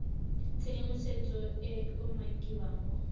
tshedimosetso e e umakiwang mo